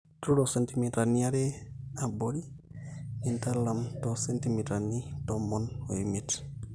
tuturro sentimitani aare, aborri nintalam tomon-tomon omoet cm